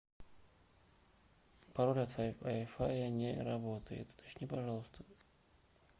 пароль от вай фая не работает уточни пожалуйста